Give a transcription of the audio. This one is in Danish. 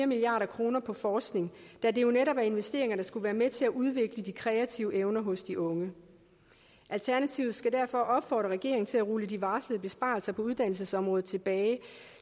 milliard kroner på forskning da det jo netop er investeringer der skulle være med til at udvikle de kreative evner hos de unge alternativet skal derfor opfordre regeringen til at rulle de varslede besparelser på uddannelsesområdet tilbage